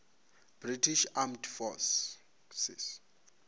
british armed forces